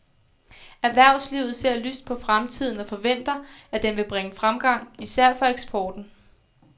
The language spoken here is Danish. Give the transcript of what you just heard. Erhvervslivet ser lyst på fremtiden og forventer, at den vil bringe fremgang især for eksporten.